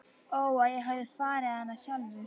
Ó að ég hefði farið hana sjálfur.